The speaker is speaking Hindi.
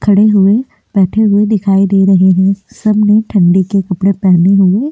खड़े हुए बैठे हुए दिखाई दे रहे हैं सबने ठंडी के कपड़े पहने हुए।